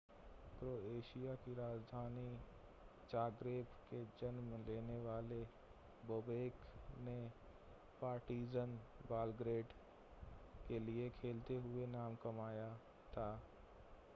Croatia की राजधानी Zagreb में जन्म लेने वाले बोबेक ने पार्टिज़न बेलग्रेड के लिए खेलते हुए नाम कमाया था